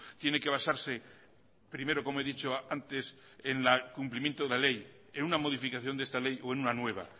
tiene que basarse primero como he dicho antes en el cumplimiento de ley en una modificación de esta ley o en una nueva